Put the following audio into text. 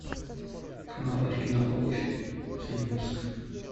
канал оригинал обувь последний выпуск